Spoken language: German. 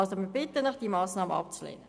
Wir bitten Sie, die Massnahme abzulehnen.